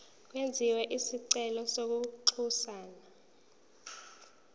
kwenziwe isicelo kwinxusa